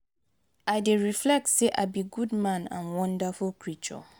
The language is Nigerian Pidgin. i dey reflect say i be good man and wonderful creature.